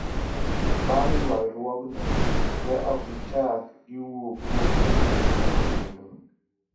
Bang' ywaruokno, ne ok gichak giwuo kuom wechego kendo".